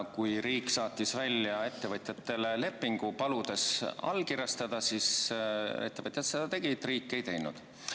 Kui riik saatis ettevõtjatele lepingu, paludes see allkirjastada, siis ettevõtjad seda tegid, riik ei teinud.